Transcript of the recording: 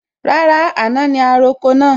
Rárá, àná ni a roko náà